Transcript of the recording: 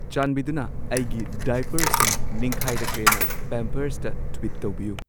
ꯆꯥꯟꯕꯤꯗꯨꯅ ꯑꯩꯒꯤ ꯗꯥꯏꯄꯔꯁꯤꯡ ꯅꯤꯡꯈꯥꯏꯔꯛꯂꯦꯅ ꯄꯦꯝꯄꯔꯁꯇ ꯇ꯭ꯋꯤꯠ ꯇꯧꯕꯤꯌꯨ